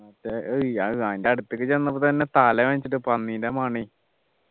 മറ്റേ ഇ ആഹ് ഏർ അതിൻ്റെ അടുത്തേക്ക് ചെന്നപ്പോ തന്നെ തല വേദനിച്ചിട്ടു പന്നീൻ്റെ മണെയ്